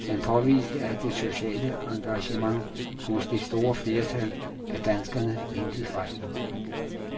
Han påviste, at det sociale engagement hos det store flertal af danskerne intet fejler.